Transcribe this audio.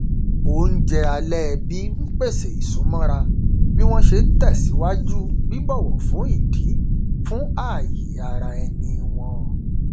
oúnjẹ alẹ ẹbí n pèsè ìsúmọra bí wọn ṣe n tẹsíwájú bíbọwọ fún ìdí fún ààyè ara ẹni wọn